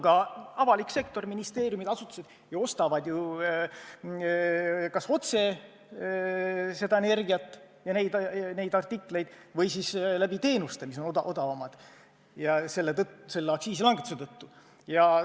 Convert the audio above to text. Ja avalik sektor – ministeeriumid ja muud asutused – ostavad kas otse seda energiat ja neid artikleid või siis läbi teenuste, mis on aktsiisilangetuse tõttu odavamad.